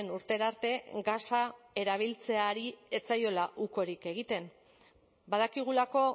urtera arte gasa erabiltzeari ez zaiola ukorik egiten badakigulako